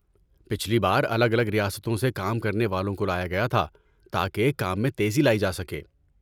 پچھلی بار الگ الگ ریاستوں سے کام کرنے والوں کو لایا گیا تھا تاکہ کام میں تیزی لائی جا سکے۔